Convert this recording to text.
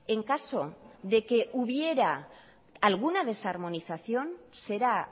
en caso de que hubiera alguna desarmonización será